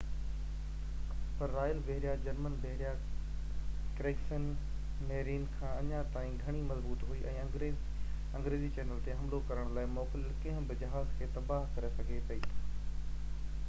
پر royal بحريه، German بحريه Kriegsmarine” کان اڃا تائين گهڻي مضبوط هئي ۽ انگريزي چينل تي حملو ڪرڻ لاءِ موڪليل ڪنهن به جهاز کي تباهه ڪري سگهي پئي